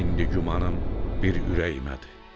İndi gümanım bir ürəyimədir.